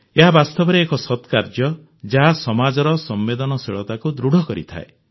ଏହା ବାସ୍ତବରେ ଏକ ସତ୍କାର୍ଯ୍ୟ ଯାହା ସମାଜର ସମ୍ବେଦନଶୀଳତାକୁ ଦୃଢ଼ କରିଥାଏ